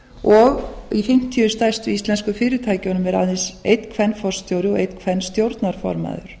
og í fimmtíu stærstu íslensku fyrirtækjunum er aðeins einn kvenforstjóri og einn kvenstjórnarformaður